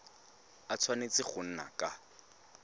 a tshwanetse go nna ka